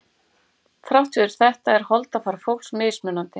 Þrátt fyrir þetta er holdafar fólks mismunandi.